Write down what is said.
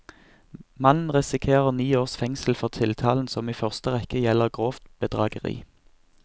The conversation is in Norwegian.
Mannen risikerer ni års fengsel for tiltalen, som i første rekke gjelder grovt bedrageri.